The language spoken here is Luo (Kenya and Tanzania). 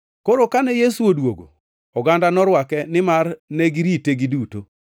Koro kane Yesu odwogo, oganda norwake nimar negirite giduto.